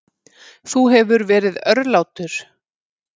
Þú hefur verið örlátur.